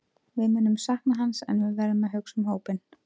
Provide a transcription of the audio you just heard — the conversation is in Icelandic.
Við munum sakna hans en við verðum að hugsa um hópinn.